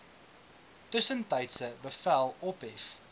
tussentydse bevel ophef